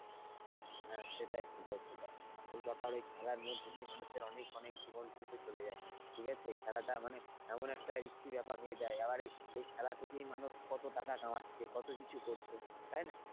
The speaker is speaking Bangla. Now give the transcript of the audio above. হ্যাঁ সেটাই সেটাই সেটাই আসলে ব্যাপার খেলার মধ্যে দিয়ে মানুষের মধ্যে দিয়ে অনেক জীবন কিন্তু চলে যায় ঠিক আছে খেলাটা মানে এমন একটা risky ব্যাপার হয়ে যায় আবার এই খেলা থেকেই মানুষ কত টাকা কামাতে কত কিছু করছে তাই না,